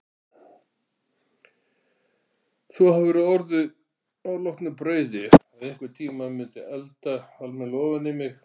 Þú hafðir á orði að loknu brauði að einhvern tímann mundirðu elda alminlega ofaní mig.